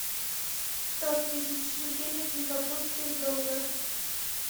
сто тысяч шекелей в сингапурских долларах